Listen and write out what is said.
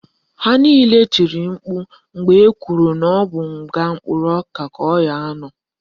Ha niile tiri mkpu mgbe ekwuru na ọ bụ nga mkpụrụ ọka ka ọ ga-anọ